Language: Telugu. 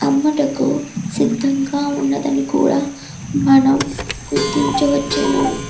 అమ్ముటకు సిద్ధంగా ఉందని కూడా మనం గుర్తించవచ్చును.